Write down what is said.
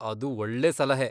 ಅದು ಒಳ್ಳೇ ಸಲಹೆ.